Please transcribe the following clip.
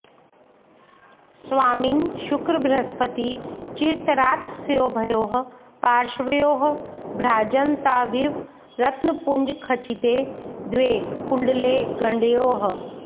स्वामिन् शुक्रबृहस्पती चिरतरात्तस्योभयोः पार्श्वयोः भ्राजन्ताविव रत्नपुञ्जखचिते द्वे कुण्डले गण्डयोः